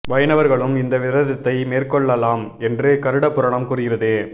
வைணவர்களும் இந்த விரதத்தை மேற்கொள்ளலாம் என்று கருட புராணம் கூறுகிறது